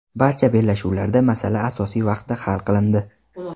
Barcha bellashuvlarda masala asosiy vaqtda hal qilindi.